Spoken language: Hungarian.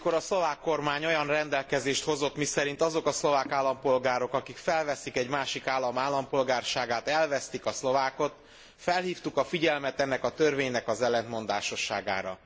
Amikor a szlovák kormány olyan rendelkezést hozott, miszerint azok a szlovák állampolgárok, akik felveszik egy másik állam állampolgárságát elvesztik a szlovákot, felhívtuk a figyelmet ennek a törvénynek az ellentmondásosságára.